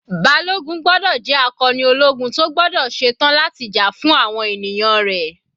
Balogun gbọ́dọ̀ jẹ́ akọni ológun tó gbọ́dọ̀ ṣe tán láti jà fún àwọn ènìyàn rẹ̀.